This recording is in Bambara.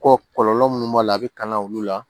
Kɔ kɔlɔlɔ munnu b'a la a bi kan olu la